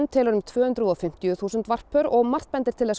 telur um tvö hundruð og fimmtíu þúsund varppör og